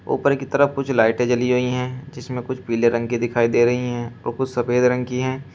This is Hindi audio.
ऊपर की तरफ कुछ लाइटें जली हुई है जिसमे कुछ पीले रंग की दिखाई दे रही हैं और कुछ सफेद रंग की है।